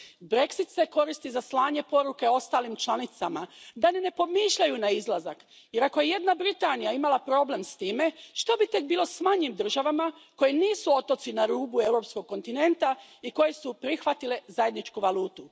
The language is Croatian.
Brexit se koristi za slanje poruke ostalim članicama da ni ne pomišljaju na izlazak, jer ako je jedna Britanija imala problem s time, što bi tek bilo s manjim državama koje nisu otoci na rubu europskog kontinenta i koje su prihvatile zajedničku valutu.